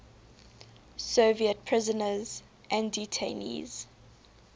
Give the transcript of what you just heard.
soviet prisoners and detainees